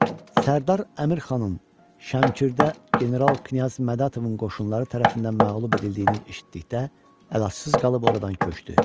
Sərdar Əmirxanın Şəmkirdə General Knyaz Mədətovun qoşunları tərəfindən məğlub edildiyini eşitdikdə əlacısız qalıb oradan köçdü.